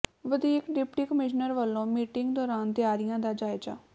ਵਧੀਕ deputy commissioner ਵੱਲੋਂ meeting ਦੌਰਾਨ ਤਿਆਰੀਆਂ ਦਾ ਜਾਇਜ਼ਾ